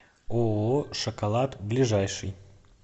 ооо шоколад ближайший